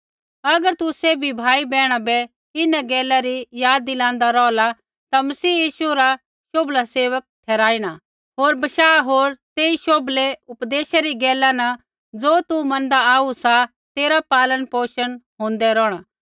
अगर तू सैभी भाई बैहणा बै इन्हां गैला री याद दिलांदा रौहला ता मसीह यीशु रा शोभला सेवक ठहराईणा होर बशाह होर तेई शोभलै उपदेशै री गैला न ज़ो तू मनदा आऊ सा तेरा पालन पोषण होंदा रौहणा